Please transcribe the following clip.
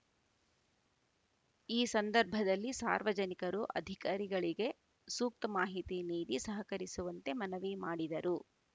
ಈ ಸಂದರ್ಭದಲ್ಲಿ ಸಾರ್ವಜನಿಕರು ಅಧಿಕಾರಿಗಳಿಗೆ ಸೂಕ್ತ ಮಾಹಿತಿ ನೀಡಿ ಸಹಕರಿಸುವಂತೆ ಮನವಿ ಮಾಡಿದರು